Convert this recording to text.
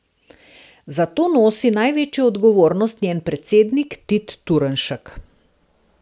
Za to nosi največjo odgovornost njen predsednik Tit Turnšek.